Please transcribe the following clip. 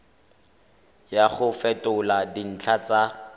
ya go fetola dintlha tsa